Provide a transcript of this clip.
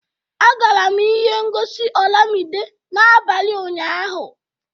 Agara m ihe ngosi olamide n'abalị ụnyahụ